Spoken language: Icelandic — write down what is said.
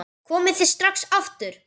Komið þið strax aftur!